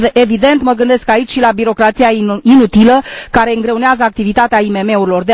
Evident, mă gândesc aici și la birocrația inutilă care îngreunează activitatea IMM urilor.